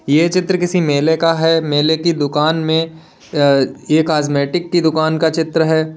ये चित्र किसी मेले का है मेले की दुकान में अ ये कॉस्मेटिक की दुकान का चित्र है।